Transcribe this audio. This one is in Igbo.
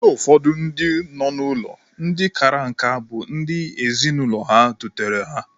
Ụfọdụ ndị nọ n'ụlọ ndị kara nka bụ ndị ezinụlọ ha dutere ha.